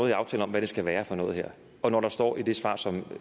i aftalen om hvad det skal være for noget og når der står i det svar som